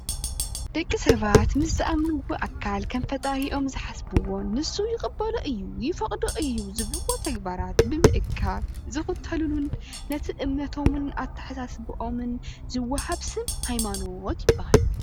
ደቂ ሰባት ምስ ዝኣምንዎ ኣካል ከም ፈጣሪኦም ዝሓስብዎ ንሱ ይቅበሎ እዩ ይፈቅዶ እዩ ዝብል ተግባራት ብምእካብ ዝክተሉልን ነቲ እምነቶምን ኣተሓሳስባን ዝዋሃብ ስም ሃይማኖት ይባሃል፡፡